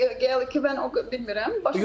Geylikdə mən o qədər bilmirəm.